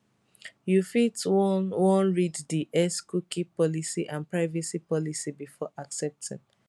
you fit wan wan read di xcookie policyandprivacy policybefore accepting